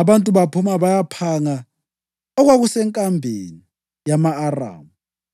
Abantu baphuma bayaphanga okwakusenkambeni yama-Aramu.